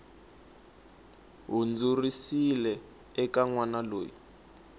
hundziserile eka n wana loyi